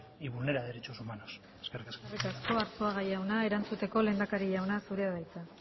y vulnera derechos humanos eskerrik asko eskerrik asko arzuaga jauna erantzuteko lehendakari jauna zurea da hitza